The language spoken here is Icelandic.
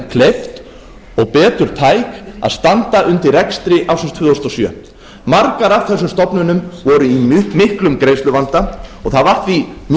og betur tæk að standa undir rekstri ársins tvö þúsund og sjö margar af þessum stofnunum voru í miklum greiðsluvanda og það var því mjög mikilvægt